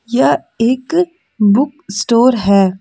यह एक book store है।